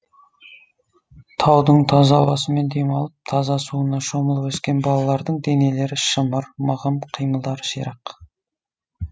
таудың таза ауасымен демалып таза суына шомылып өскен балалардың денелері шымыр мығым қимылдары ширақ